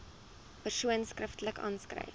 persoon skriftelik aanskryf